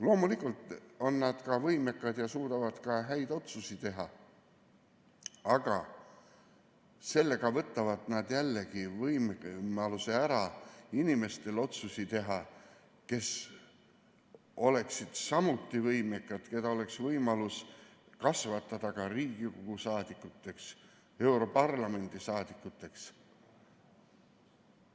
Loomulikult on nad ka võimekad ja suudavad teha häid otsuseid, aga sellega võtavad nad jällegi ära võimaluse otsuseid teha inimestelt, kes oleksid samuti võimekad, keda oleks võimalus kasvatada ka Riigikogu saadikuteks, europarlamendi saadikuteks.